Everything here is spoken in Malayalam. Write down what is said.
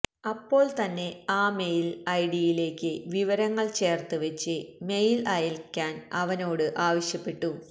അപ്പോൾ തന്നെ ആ മെയിൽ ഐഡിയിലേക്ക് വിവരങ്ങൾ ചേർത്ത് വച്ച് മെയിൽ അയക്കാൻ അവനോട് ആവശ്യപ്പെട്ടു